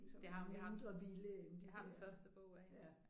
Det har hun jeg har jeg har den første bog af hende